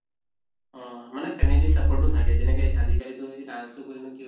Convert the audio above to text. অহ মানে family support ও থাকে যেনেকে আজি কালিতো এই dance তো কৰিনো কি